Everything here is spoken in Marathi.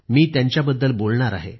मी त्यांच्याबद्दल बोलणार आहे